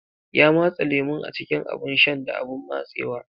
Ya matse lemun a cikin abun shan da abun matsewa.